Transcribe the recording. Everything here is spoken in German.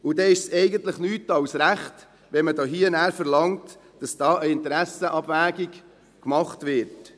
Dann ist es eigentlich nicht mehr als recht, wenn man verlangt, dass eine Interessenabwägung vorgenommen wird.